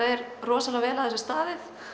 er rosalega vel að þessu staðið